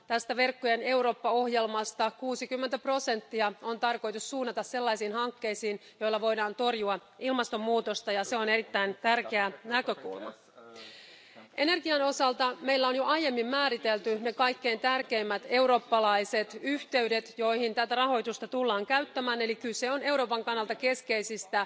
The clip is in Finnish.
Tästä Verkkojen Eurooppa ohjelmasta 60 prosenttia on tarkoitus suunnata hankkeisiin, joilla voidaan torjua ilmastonmuutosta, ja se on erittäin tärkeä näkökulma. Energian osalta meillä on jo aiemmin määritelty ne kaikkein tärkeimmät eurooppalaiset yhteydet, joihin tätä rahoitusta tullaan käyttämään kyse on Euroopan kannalta keskeisistä